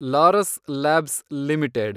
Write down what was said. Laurus labs limited